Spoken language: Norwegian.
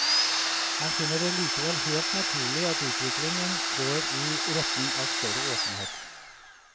Han finner det likevel helt naturlig at utviklingen går i retning av større åpenhet.